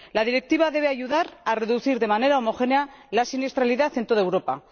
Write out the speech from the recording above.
La Directiva debe ayudar a reducir de manera homogénea la siniestralidad en toda Europa.